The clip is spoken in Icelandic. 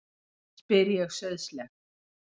spyr ég sauðsleg.